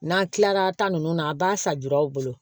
N'an kilara ta nunnu na a b'a san juruw bolo